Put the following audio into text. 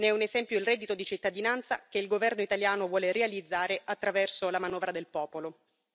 Ne è un esempio il reddito di cittadinanza che il governo italiano vuole realizzare attraverso la manovra del popolo.